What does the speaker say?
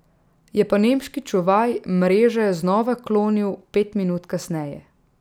Je pa nemški čuvaj mreže znova klonil pet minut kasneje.